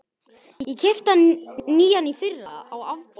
Ég keypti hann nýjan í fyrra, á afborgunum.